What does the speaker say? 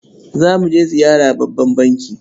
Za mu je ziyara babban banki.